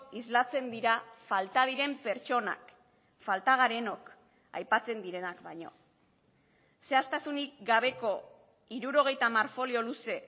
islatzen dira falta diren pertsonak falta garenok aipatzen direnak baino zehaztasunik gabeko hirurogeita hamar folio luze